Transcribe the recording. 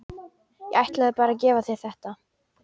Ég ætlaði bara að gefa þér þetta.